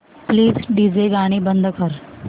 please DJ गाणी बंद कर